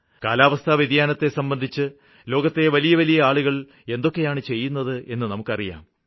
കാലാവസ്ഥാ വ്യതിയാനത്തെ സംബന്ധിച്ച് ലോകത്തെ വലിയ വലിയ ആളുകള് എന്തൊക്കെയാണ് ചെയ്യുന്നതെന്ന് നമുക്കറിയാം